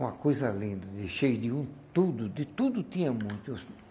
Uma coisa linda, de cheia de o tudo, de tudo tinha muito.